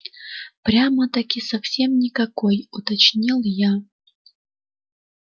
прямо-таки совсем никакой уточнил я